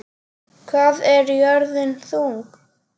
Hvað er jörðin þung?